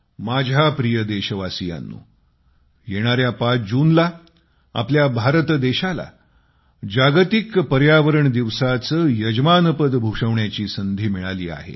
माझ्या प्रिय देशवासीयांनो येणाऱ्या 5 जूनला आपला भारत देशाला अधिकृतरीत्या वर्ल्ड एन्व्हायर्नमेंट डे जागतिक विश्व पर्यावरण दिवसाचे यजमानपद भूषवण्याची संधी मिळाली आहे